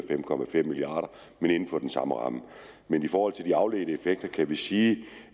fem milliard men inden for den samme ramme men i forhold til de afledte effekter kan vi sige